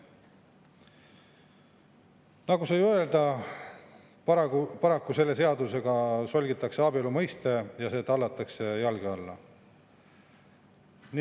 Nagu sai öeldud, paraku selle seadusega solgitakse abielu mõiste ja see tallatakse jalge alla.